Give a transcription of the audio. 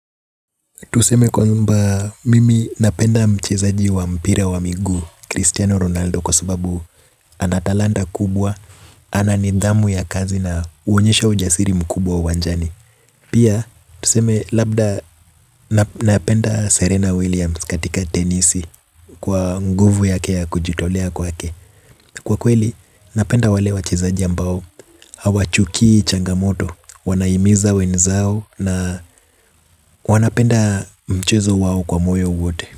Tuseme kwamba mimi napenda mchezaji wa mpira wa miguu Cristiano Ronaldo kwa subabu anatalanda kubwa. Ana nidhamu ya kazi na huonyesha ujasiri mkubwa uwanjani. Pia, tuseme labda napenda Serena Williams katika tenisi. Kwa nguvu yake ya kujitolea kwake kwa kweli, napenda wale wachezaji ambao hawachukii changamoto, wanahimiza wenzao. Na wanapenda mchezo wao kwa moyo wote.